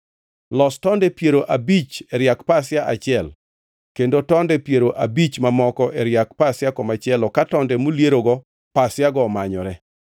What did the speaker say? Los tonde piero abich e riak pasia achiel kendo tonde piero abich mamoko e riak pasia komachielo ka tonde moliergo pasiago omanyore.